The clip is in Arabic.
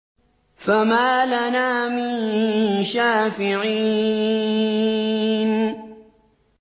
فَمَا لَنَا مِن شَافِعِينَ